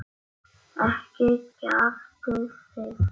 Ekki kjaftið þið.